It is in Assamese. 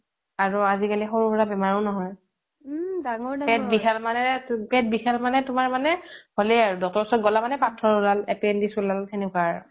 আৰু আজি কালি সৰু সোৰা বেমাৰ আজাৰো নহয় পেট বিখালে পেট বিখালে তোমাৰ মানে হ'লেই আৰু ডক্তৰ ওচৰত গ'লে মানেই পাথৰ ওলাল appendix ওলাল তেনেকুৱা আৰু